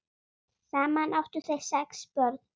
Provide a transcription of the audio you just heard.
Saman áttu þau sex börn.